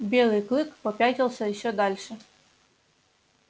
белый клык попятился ещё дальше